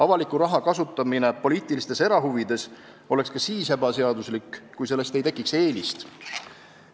Avaliku raha kasutamine poliitilistes erahuvides oleks ka siis ebaseaduslik, kui sellest ei tekiks eelist.